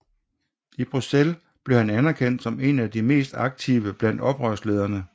I Bruxelles blev han anerkendt som en af de mest aktive blandt oprørslederne